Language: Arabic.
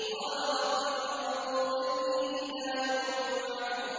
قَالَ رَبِّ فَأَنظِرْنِي إِلَىٰ يَوْمِ يُبْعَثُونَ